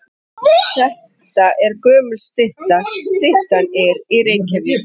Þetta er gömul stytta. Styttan er í Reykjavík.